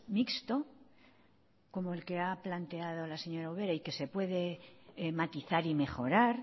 mixto como el que ha planteado la señora ubera y que se puede matizar y mejorar